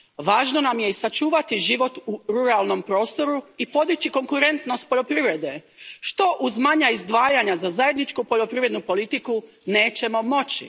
Važno nam je i sačuvati život u ruralnom prostoru i podići konkurentnost poljoprivrede, što uz manja izdvajanja za zajedničku poljoprivrednu politiku nećemo moći.